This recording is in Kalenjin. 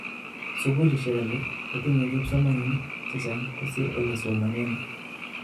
Sugulishek alak kotinye kipsomaninik chechang kosir olesomonen